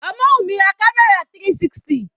Omowumi ra camera 360.